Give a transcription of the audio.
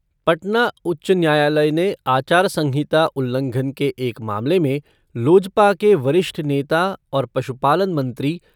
पटना उच्च न्यायालय ने आचार संहिता उल्लंघन के एक मामले में लोजपा के वरिष्ठ नेता और पशुपालन मंत्री